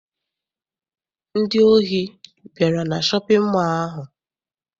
Ndị ohi bịara na shọpịn mọọ ahụ.